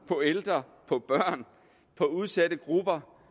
på ældre på børn på udsatte grupper